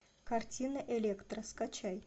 картина электра скачай